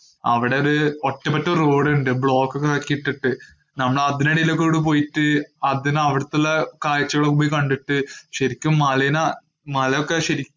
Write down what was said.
അവിടെ ഒരു ഒറ്റപ്പെട്ട road ഉണ്ട്. block ഒക്കെ ആക്കിട്ടിട്ടു നമ്മള് അതിനിടയിലൂടെ അവിടെ പോയിട്ട് അതിന് അവിടത്തുള്ള കാഴ്ചകളും പോയി കണ്ടിട്ട് ശരിക്കും മലേനെ മലയൊക്കെ ശരിക്കും